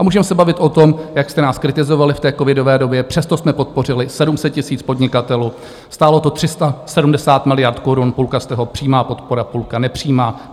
A můžeme se bavit o tom, jak jste nás kritizovali v té covidové době, přesto jsme podpořili 700 000 podnikatelů, stálo to 370 miliard korun, půlka z toho přímá podpora, půlka nepřímá.